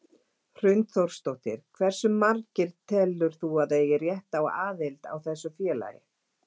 Hrund Þórsdóttir: Hversu margir telur þú að eigi rétt á aðild á þessu félagi?